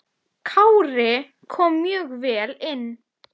Kári kom mjög vel inn.